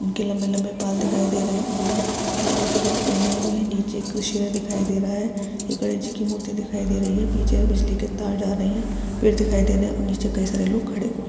उनके लम्बे लम्बे बाल दिखाई दे रहे है उन्होंने लाल रंग के कपड़े पहने हुए है नीचे एक शेर दिखाई दे रहा है ये गणेश जी की मूर्ति दिखाई दे रही है पीछे से बिजली के तार जा रहे है पेड़ दिखाई दे रहे है और नीचे कई सारे लोग खड़े हुए हैं।